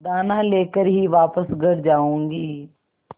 दाना लेकर ही वापस घर आऊँगी